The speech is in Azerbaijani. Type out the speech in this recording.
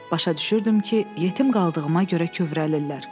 Başa düşürdüm ki, yetim qaldığıma görə kövrəlirlər.